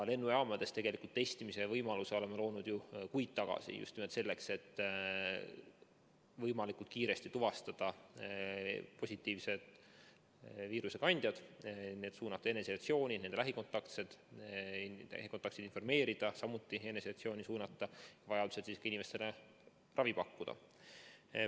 Lennujaamades tegelikult testimise võimaluse oleme loonud ju kuid tagasi, just nimelt selleks, et võimalikult kiiresti tuvastada viirusekandjad, suunata nad eneseisolatsiooni, nende lähikontaktseid informeerida ja samuti eneseisolatsiooni suunata ning vajaduse korral ka inimestele ravi pakkuda.